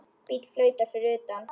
Bíll flautar fyrir utan.